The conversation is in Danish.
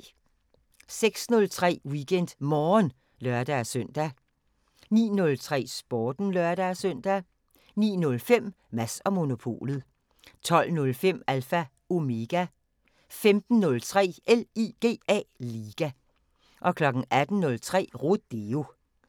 06:03: WeekendMorgen (lør-søn) 09:03: Sporten (lør-søn) 09:05: Mads & Monopolet 12:05: Alpha Omega 15:03: LIGA 18:03: Rodeo